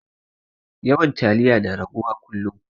Yawan taliya na rage wa kullum